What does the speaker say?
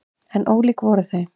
En ólík voru þau.